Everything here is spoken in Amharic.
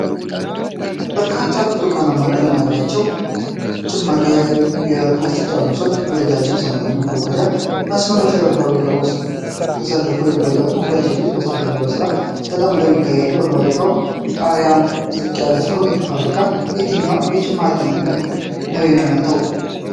በርካታ ብርቱካናማ ቀለም ያላቸው ጭማቂ የፕላስቲክ ጠርሙሶች፣ በረጃጅም ሰማያዊ የማጓጓዣ መስመሮች ላይ በፋብሪካ ውስጥ ተሰልፈው ይጓዛሉ፣ ሁለት ሴቶችም ከበስተጀርባ በስራ ተጠምደው ይታያሉ፣ የፋብሪካው ጣሪያም ዝቅ ያለ ነው። ይህ ፋብሪካ የትኛውን የጭማቂ ምርት ነው የሚያመርተው?